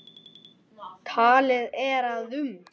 Talið er að um